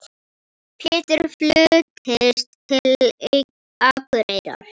Pétur fluttist til Akureyrar.